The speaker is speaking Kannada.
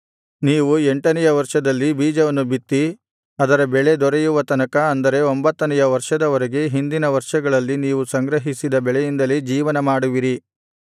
ನೀವು ಎಂಟನೆಯ ವರ್ಷದಲ್ಲಿ ಬೀಜವನ್ನು ಬಿತ್ತಿ ಅದರ ಬೆಳೆ ದೊರೆಯುವ ತನಕ ಅಂದರೆ ಒಂಭತ್ತನೆಯ ವರ್ಷದ ವರೆಗೆ ಹಿಂದಿನ ವರ್ಷಗಳಲ್ಲಿ ನೀವು ಸಂಗ್ರಹಿಸಿದ ಬೆಳೆಯಿಂದಲೇ ಜೀವನಮಾಡುವಿರಿ